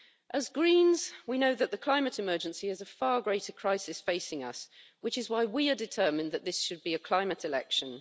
As Greens, we know that the climate emergency is a far greater crisis facing us, which is why we are determined that this should be a climate election.